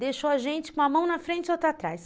Deixou a gente com a mão na frente e outra atrás.